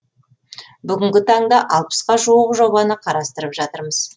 бүгінгі таңда алпысқа жуық жобаны қарастырып жатырмыз